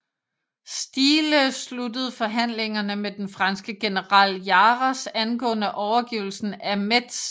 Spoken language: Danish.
Stiehle sluttede forhandlingerne med den franske general Jarras angående overgivelsen af Metz